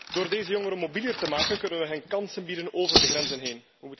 Door deze jongeren mobieler te maken kunnen we hun kansen bieden over de grenzen heen.